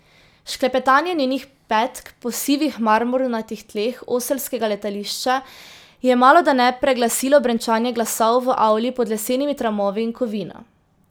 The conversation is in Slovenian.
Šklepetanje njenih petk po sivih marmornatih tleh oselskega letališča je malodane preglasilo brenčanje glasov v avli pod lesenimi tramovi in kovino.